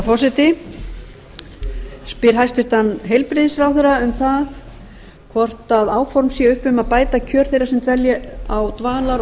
ég spyr hæstvirtur heilbrigðisráðherra um hvort áform séu upp um að bæta kjör þeirra sem dvelja á dvalar og